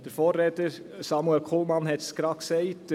Der Vorredner, Samuel Kullmann, hat es gerade gesagt: